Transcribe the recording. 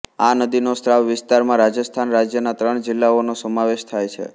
આ નદીનો સ્ત્રાવ વિસ્તારમાં રાજસ્થાન રાજ્યના ત્રણ જિલ્લાઓનો સમાવેશ થાય છે